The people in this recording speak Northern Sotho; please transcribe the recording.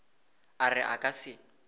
a re a ka se